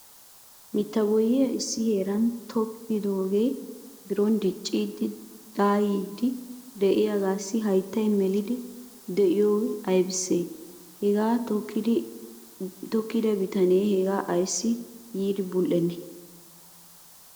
Mitta boyyiya issi heeran tokkidooge biron dicciidi de'iyaahe de'iyaagassi hayttay meliid de'iyoy aybbissi? Haga tokkida bitanew haga ayssi yiidi bul"enne?